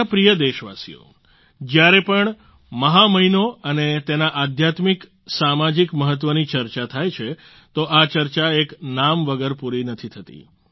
મારા પ્રિય દેશવાસીઓ જ્યારે પણ મહા મહિનો અને તેના આધ્યાત્મિક સામાજિક મહત્વની ચર્ચા થાય છે તો આ ચર્ચા એક નામ વગર પૂરી નથી થતી